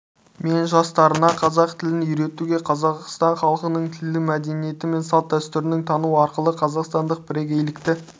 мен жастарына қазақ тілін үйретуге қазақстан халқының тілі мәдениеті мен салт-дәстүрлерін тану арқылы қазақстандық бірегейлікті